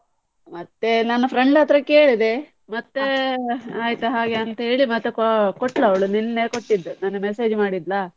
ಮತ್ತೆ ನಾನ್ಸ friend ಹತ್ರ ಕೇಳಿದ್ದೆ, ಮತ್ತೆ ಆಯ್ತು ಹಾಗೆ ಅಂತೇಳಿ ಮತ್ತೆ ಕೊ~ ಕೋಟ್ಳು ಅವ್ಳು ನಿನ್ನೆ ಕೊಟ್ಟಿದ್ದು ನಿನ್ನೆ message ಮಾಡಿದ್ಲಾ.